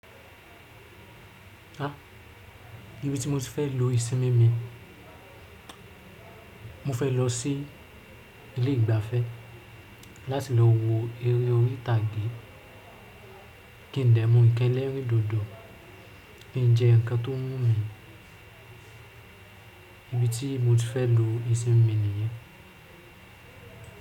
Ah, ibi tí mo ti fẹ́ lu ìsinmi mi, mo fẹ́ lọ sí ilé ìgbafẹ́ láti lọ wo eré orí tàgé kí n dẹ̀ mu ikẹlẹ rin dodo, kí n jẹ nkan tó wùmí, ibi tí mo ti fẹ́ lo ìsinmi mi ni yìí.